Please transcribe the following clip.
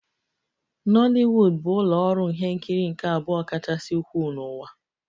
Nollywood bụ ụlọ ọrụ ihe nkiri nke abụọ kachasị ukwuu n'ụwa